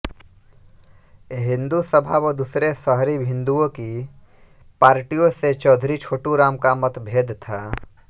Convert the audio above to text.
हिंदू सभा व दूसरे शहरी हिन्दुओं की पार्टियों से चौधरी छोटूराम का मतभेद था